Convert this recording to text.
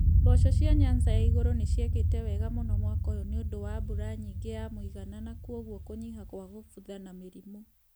Mboco cia Nyanza ya igũrũ nĩ ciekete wega mũno mwaka ũyũ nĩ ũndũ wa mbura nyingĩ ya mũigana na kwoguo kũnyiha kwa kubutha na mĩrimũ.